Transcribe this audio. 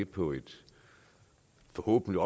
på et forhåbentlig